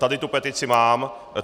Tady tu petici mám.